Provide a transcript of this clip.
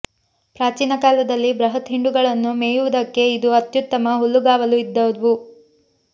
ಪ್ರಾಚೀನ ಕಾಲದಲ್ಲಿ ಬೃಹತ್ ಹಿಂಡುಗಳನ್ನು ಮೇಯುವುದಕ್ಕೆ ಇದು ಅತ್ಯುತ್ತಮ ಹುಲ್ಲುಗಾವಲು ಇದ್ದವು